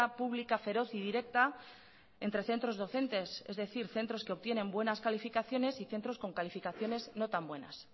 pública feroz y directa entre centros docentes es decir centros que obtienen buenas calificaciones y centros con calificaciones no tan buenas